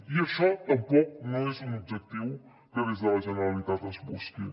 i això tampoc no és un objectiu que des de la generalitat es busqui